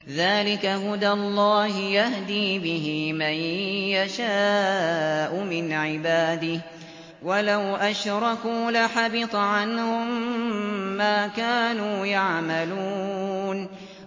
ذَٰلِكَ هُدَى اللَّهِ يَهْدِي بِهِ مَن يَشَاءُ مِنْ عِبَادِهِ ۚ وَلَوْ أَشْرَكُوا لَحَبِطَ عَنْهُم مَّا كَانُوا يَعْمَلُونَ